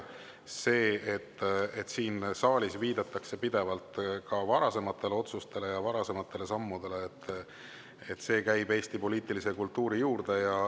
See, et siin saalis viidatakse pidevalt ka varasematele otsustele ja varasematele sammudele, käib Eesti poliitilise kultuuri juurde.